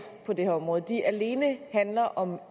på det her område alene handler om